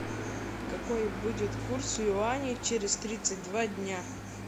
какой будет курс юаней через тридцать два дня